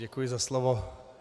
Děkuji za slovo.